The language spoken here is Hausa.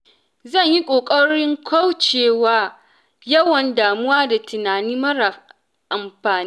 Zan yi ƙoƙarin kaucewa yawan damuwa da tunani mara amfani.